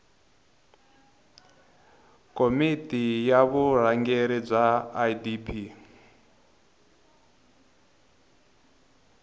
komiti ya vurhangeri bya idp